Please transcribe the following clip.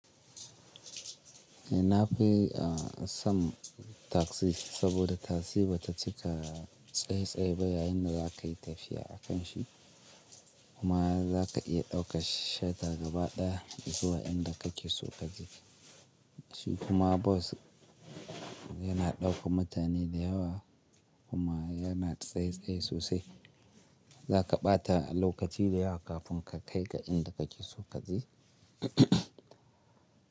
Eh na fi, a san taxi saboda taxi bata cika tsaye-tsaye ba yayin da za ka yi tafiya a kan shi kuma za ka iya daukar shatar gaba daya zuwa inda kake so ka je. Shi kuma bus yana dauka mutane da yawa kuma yana tsaye-tsaye sosai. Za ka bata lokaci da yawa kafin ka kai ga inda kake so ka je.